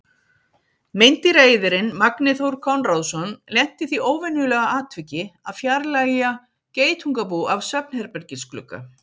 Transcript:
Meindýraeyðirinn Magni Þór Konráðsson lenti í því óvenjulega atviki að fjarlægja geitungabú af svefnherbergisglugga.